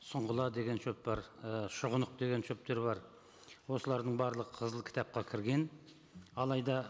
сұңғыла деген шөп бар і шұғынық деген шөптер бар осылардың барлығы қызыл кітапқа кірген алайда